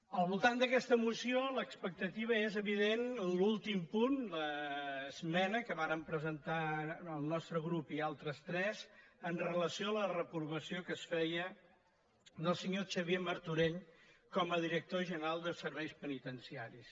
al voltant d’aquesta moció l’expectativa és evident l’últim punt l’esmena que vàrem presentar el nostre grup i altres tres amb relació a la reprovació que es fe·ia al senyor xavier martorell com a director general de serveis penitenciaris